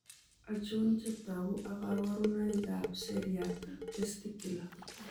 Achon chetogu ak kaborunoik ab seriat ab testicular